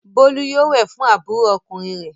Bólú yóò wẹ̀ fún àbúrò ọkùnrin rẹ̀!